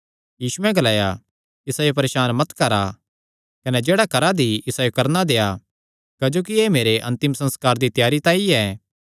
यीशुयैं ग्लाया इसायो परेसान मत करा कने जेह्ड़ा करा दी इसायो करणा देआ क्जोकि एह़ मेरे अन्तिम संस्कार दी त्यारी तांई ऐ